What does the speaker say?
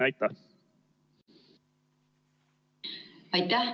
Aitäh!